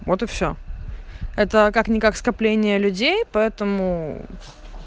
вот и все это как никак скопление людей поэтому